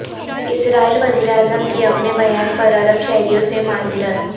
اسرائیلی وزیراعظم کی اپنے بیان پر عرب شہریوں سے معذرت